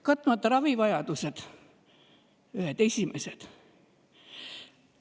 Katmata ravivajadused – ühed esimesed.